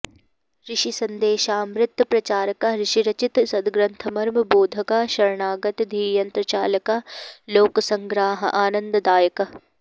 ऋषिसन्देशामृत प्रचारकः ऋषिरचित सद्ग्रन्थमर्म बोधकः शरणागत धीयन्त्रचालकः लोकसङ्ग्रहानन्ददायकः